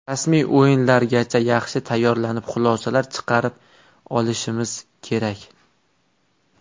Rasmiy o‘yinlargacha yaxshi tayyorlanib, xulosalar chiqarib olishimiz kerak.